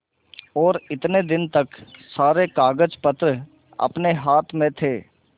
और इतने दिन तक सारे कागजपत्र अपने हाथ में थे